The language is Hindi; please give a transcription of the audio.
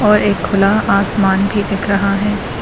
और एक खुला आसमान भी दिख रहा है।